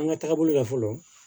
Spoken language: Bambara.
An ka taabolo la fɔlɔ